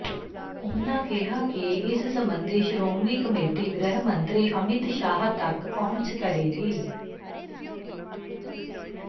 ਉਨ੍ਹਾਂ ਕਿਹਾ ਕਿ ਇਸ ਸਬੰਧੀ ਸ਼੍ਰੋਮਣੀ ਕਮੇਟੀ ਗ੍ਰਹਿ ਮੰਤਰੀ ਅਮਿਤ ਸ਼ਾਹ ਤੱਕ ਪਹੁੰਚ ਕਰੇਗੀ